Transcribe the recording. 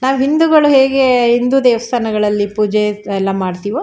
ನಾವು ಹಿಂದೂಗಳು ಹೇಗೆ ಹಿಂದು ದೇವಸ್ಥಾನಗಳಲ್ಲಿ ಪೂಜೆ ಎಲ್ಲಾ ಮಾಡತ್ತೀವೋ --